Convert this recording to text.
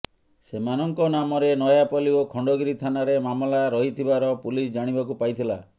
ସେମାନଙ୍କ ନାମରେ ନୟାପଲ୍ଲୀ ଓ ଖଣ୍ଡଗିରି ଥାନାରେ ମାମଲା ରହିଥିବାର ପୁଲିସ୍ ଜାଣିବାକୁ ପାଇଥିଲା